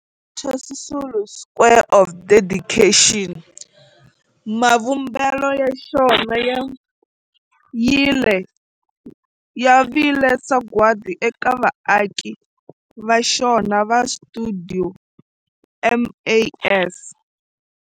Walter Sisulu Square of Dedication, mavumbelo ya xona ya vile sagwadi eka vaaki va xona va stuidio MAS.